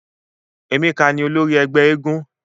Emeka ni olori ẹgbẹ éégún.